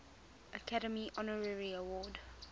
academy honorary award